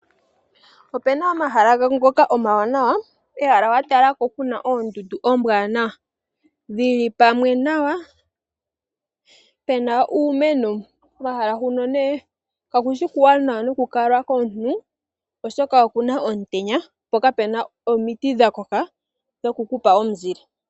Opu na omahala ngoka omawanawa, kehala wa talako ku na oondundu ombwanawa dhili pamwe nawa pe na uumeno pomahala huno nee kakushi okuwanawa nokukalwa komuntu oshoka oku na omutenya po kape na omiti dha koka dhokukupa omuzile.